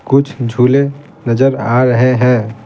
कुछ झूले नजर आ रहे हैं।